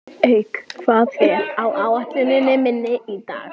Eik, hvað er á áætluninni minni í dag?